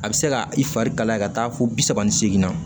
A bɛ se ka i fari kalaya ka taa fo bi saba ni seegin na